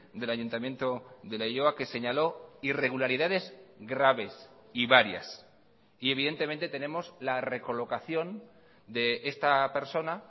del ayuntamiento de leioa que señaló irregularidades graves y varias y evidentemente tenemos la recolocación de esta persona